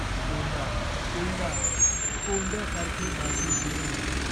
कोंडा, कोंडा. कोंड्यासारखे माझे जीवन.